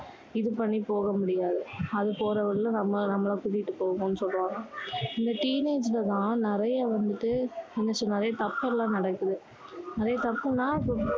இது பண்ணி போக முடியாது அது போற வழியில நம்ம~நம்மள கூட்டிட்டு போகும்ணு சொல்லுவாங்க இந்த teenage ல தான் நிறைய வந்துட்டு என்ன சொல்றது நிறைய தப்பு எல்லாம் நடக்குது நிறைய தப்புன்னா